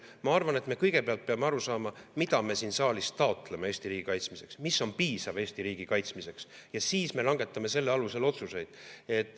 Ma arvan, et me kõigepealt peame aru saama, mida me siin saalis taotleme Eesti riigi kaitsmiseks, mis on piisav Eesti riigi kaitsmiseks, ja siis me langetame selle alusel otsuseid.